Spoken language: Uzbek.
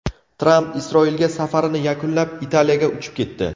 Tramp Isroilga safarini yakunlab, Italiyaga uchib ketdi.